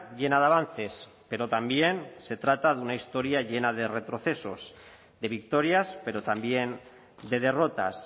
llena de avances pero también se trata de una historia llena de retrocesos de victorias pero también de derrotas